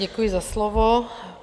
Děkuji za slovo.